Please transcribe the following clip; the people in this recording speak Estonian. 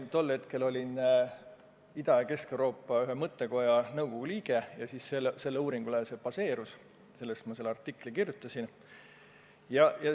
Tol ajal olin ma Ida- ja Kesk-Euroopa ühe mõttekoja nõukogu liige ja sellele uuringule ma tuginesin, kui selle artikli kirjutasin.